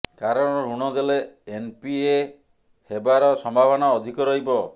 କାରଣ ଋଣ ଦେଲେ ଏନପିଏ ହେବାର ସମ୍ଭାବନା ଅଧିକ ରହିବ